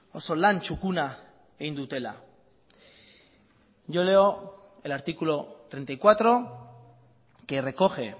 oso lan txukuna egin dutela yo leo el artículo treinta y cuatro que recoge